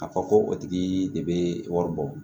A fɔ ko o tigi de bɛ wari bɔ